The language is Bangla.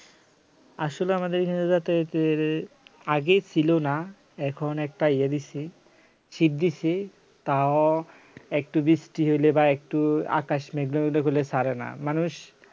আসলে আমাদের এখানে যাতে হচ্ছে এর আগে ছিল না এখন একটা ইয়ে দিছি shit দিয়েছি তাও একটু বৃষ্টি হইলে বা একটু আকাশ মেঘলা মেঘলা করলে ছাড়ে না মানুষ